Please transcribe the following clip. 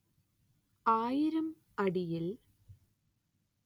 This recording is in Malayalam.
ആയിരം അടിയിൽ